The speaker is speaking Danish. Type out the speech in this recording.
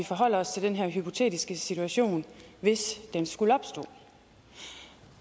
forholder os til den her hypotetiske situation hvis den skulle opstå